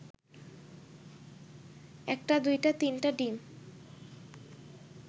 একটা দুইটা তিনটা ডিম